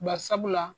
Bari sabula